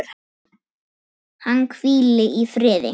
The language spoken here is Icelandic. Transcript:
Hann hvíli í friði.